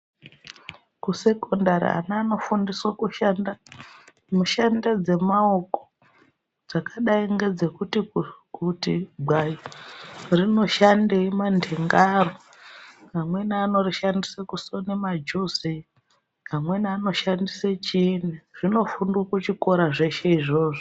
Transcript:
Kusekondari ana anofundiswa kushanda mishando dzemaoko dzakadai ngedzekuti gwai rinoshandei manhenga aro. Amweni anorishandisa kusona majuzi amweni anoshandise chiinyi. Zvinofundwa kuchikora zveshe izvozvo.